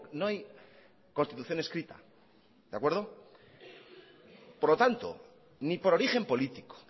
no hay constitución escrita de acuerdo por lo tanto ni por origen político